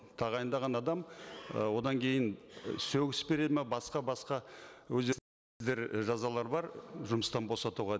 тағайындаған адам ы одан кейін сөгіс береді ме басқа басқа жазалары бар жұмыстан босатуға